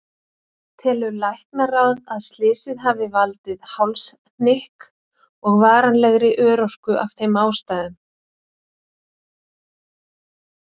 Telur Læknaráð að slysið hafi valdið hálshnykk og varanlegri örorku af þeim ástæðum?